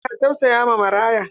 Mutane na tausayawa maraya.